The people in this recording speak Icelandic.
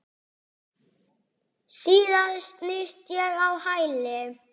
Síðan snýst ég á hæli.